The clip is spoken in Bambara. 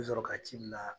I bɛ sɔrɔ ka ci bila